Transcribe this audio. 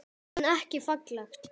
En ekki falleg.